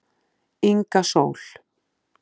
Inga Sól